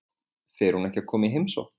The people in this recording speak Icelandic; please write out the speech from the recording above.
Fer hún ekki að koma í heimsókn?